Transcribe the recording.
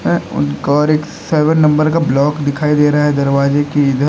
और एक seven number का ब्लॉक दिखाई दे रहा है दरवाजे के इधर।